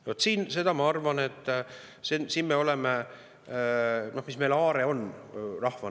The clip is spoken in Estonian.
Mis on meie aare rahvana?